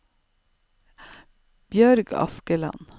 Bjørg Askeland